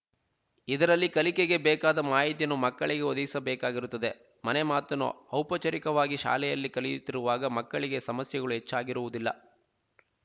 ಇದರಲ್ಲಿ ಕಲಿಕೆಗೆ ಬೇಕಾದ ಮಾಹಿತಿಯನ್ನು ಮಕ್ಕಳಿಗೆ ಒದಗಿಸಬೇಕಾಗಿರುತ್ತದೆ ಮನೆಮಾತನ್ನು ಔಪಚಾರಿಕವಾಗಿ ಶಾಲೆಯಲ್ಲಿ ಕಲಿಯುತ್ತಿರುವಾಗ ಮಕ್ಕಳಿಗೆ ಸಮಸ್ಯೆಗಳು ಹೆಚ್ಚಾಗಿರುವುದಿಲ್ಲ